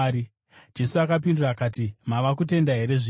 Jesu akapindura akati, “Mava kutenda here zvino?